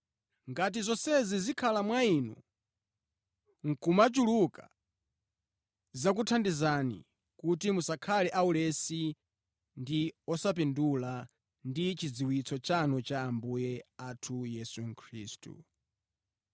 Ngati zonsezi zikhala mwa inu nʼkumachuluka, zidzakuthandizani kuti musakhale aulesi ndi osapindula ndi chidziwitso chanu cha Ambuye athu Yesu Khristu.